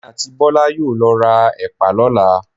Èmi àti Bọ́lá yóò lọ ra Ẹ̀pà lọ́la.